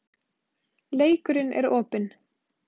Leikurinn er opinn